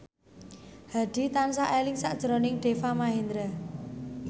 Hadi tansah eling sakjroning Deva Mahendra